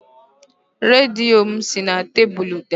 Redio m si na tebụlụ daa